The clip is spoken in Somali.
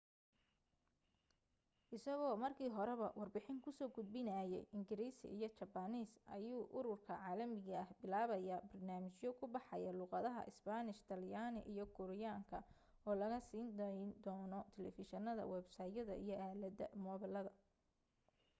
isagoo markii horeba warbixin ku soo gudbinayay ingiriisi iyo jabbaaniis ayuu ururka caalamiga ah bilaabaya barnaamijyo ku baxaya luuqadaha isbaanish talyaani iyo kuuriyaanka oo laga siin dayno taleefishinada websaytyada iyo aalada moobilada